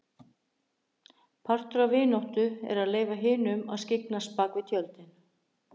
Partur af vináttu er að leyfa hinum að skyggnast bak við tjöldin.